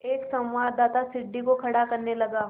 एक संवाददाता सीढ़ी को खड़ा करने लगा